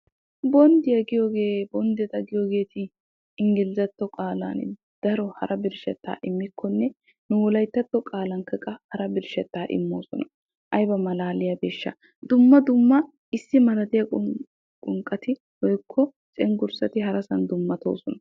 bonddiya giyoogee bonddeta giyoogeeti inggilzzatto qaalan daro hara birshshettaa immikkonne nu wolayittatto qaalan hara birshshettaa immoosona. ayiba malaaliyabeeshsha! dumma dumma qonqqati woyikko cenggurssati harasan dummatoosona.